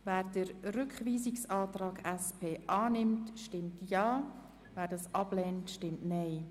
Wer diesen Rückweisungsantrag annimmt, stimmt Ja, wer diesen ablehnt, stimmt Nein.